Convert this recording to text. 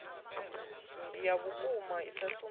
ya vhukuma i sa sumbedzi